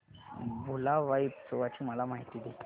भुलाबाई उत्सवाची मला माहिती दे